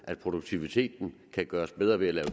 at produktiviteten kan gøres bedre ved at lave